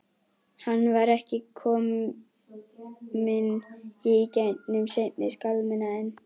Hann var ekki fyrr kominn í gegnum seinni skálmina en